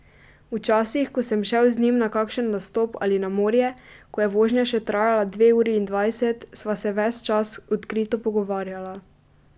Včasih, ko sem šel z njim na kakšen nastop ali na morje, ko je vožnja še trajala dve uri in dvajset, sva se ves čas odkrito pogovarjala.